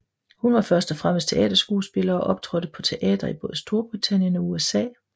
Hun var først og fremmest teaterskuespiller og optrådte på teatre i både Storbritannien og USA